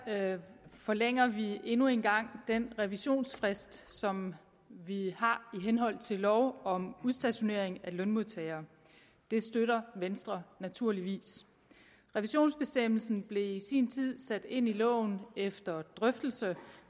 forlænger vi endnu en gang den revisionsfrist som vi har i henhold til lov om udstationering af lønmodtagere det støtter venstre naturligvis revisionsbestemmelsen blev i sin tid sat ind i loven efter drøftelse